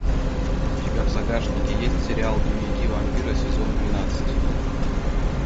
у тебя в загашнике есть сериал дневники вампира сезон двенадцать